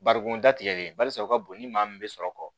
Barikon datigɛlen barisa u ka bon ni maa min bɛ sɔrɔ kɔ